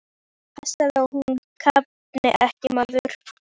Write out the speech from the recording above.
Passaðu að hún kafni ekki, maður!